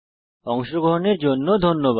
অংশগ্রহনের জন্য ধন্যবাদ